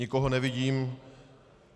Nikoho nevidím.